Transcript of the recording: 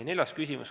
Neljas küsimus.